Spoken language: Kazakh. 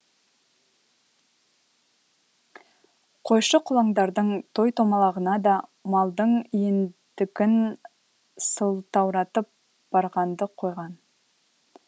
қойшы қолаңдардың той томалағына да малдың иендігін сылтауратып барғанды қойған